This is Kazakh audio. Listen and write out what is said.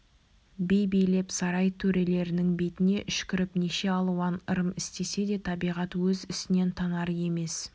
би билеп сарай төрелерінің бетіне үшкіріп неше алуан ырым істесе де табиғат өз ісінен танар емес